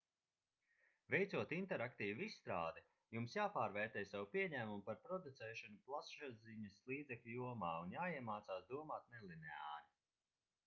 veicot interaktīvu izstrādi jums jāpārvērtē savi pieņēmumi par producēšanu plašsaziņas līdzekļu jomā un jāiemācās domāt nelineāri